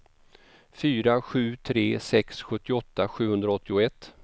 fyra sju tre sex sjuttioåtta sjuhundraåttioett